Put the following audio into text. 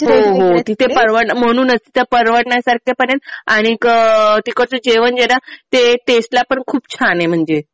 हो हो. तिथे म्हणूनच तिथे परवडण्यासारखं पण आहे. आणि तिकडचं जेवण जे आहे ना ते टेस्ट ला पण खूप छान आहे म्हणजे.